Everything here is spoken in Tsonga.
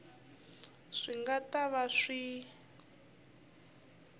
swi nga ta va swi